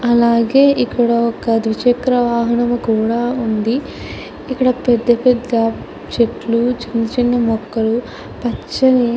అలాగే ఇక్కడ ఒక ద్విచక్ర వాహనం కూడా ఉంది. అలాగే ఇక్కడ పెద్ద పెద్ద చెట్లు చిన్న చిన్న ముక్కలు పచ్చని --